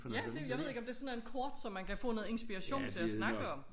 Ja det jeg ved ikke om det sådan en kort som man kan få noget inspiration til at snakke om